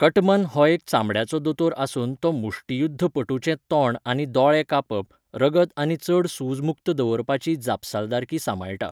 Cutman हो एक चामड्याचो दोतोर आसून तो मुष्टियुध्दपटूचें तोंड आनी दोळे कापप, रगत आनी चड सुज मुक्त दवरपाची जापसालदारकी सांबाळटा.